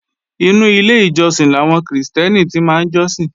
Inú ilé ìjọsìn làwọn Krìstẹ́nì ti máa ń jọ́sìn